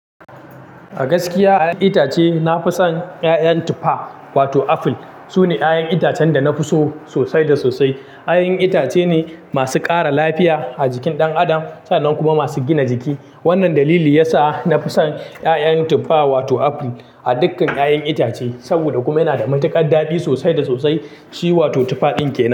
A gaskiya a 'yan itace nafi son 'ya'yan tufa wato apple. Sune 'ya'yan itacen da nafi so sosai da sosai. 'Ya'yan itace ne masu ƙara lafiya a jikin ɗan adam sannan kuma masu gina jiki. Wannan dalili ya sa nafi son 'ya'yan tufa wato apple a dukkan 'ya'yan itace. Saboda kuma yana da matuƙar daɗi sosai da sosai. Shi wato tufa din kenan.